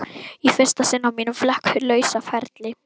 Í fyrsta sinn á mínum flekk lausa ferli.